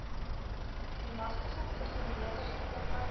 bemagtiging verteenwoordiging opmerkings